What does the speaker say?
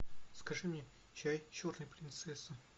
закажи мне чай черный принцесса